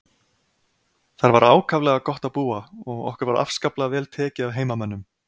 Þar var ákaflega gott að búa og okkur var afskaplega vel tekið af heimamönnum.